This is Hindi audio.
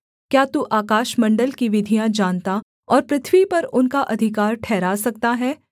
क्या तू आकाशमण्डल की विधियाँ जानता और पृथ्वी पर उनका अधिकार ठहरा सकता है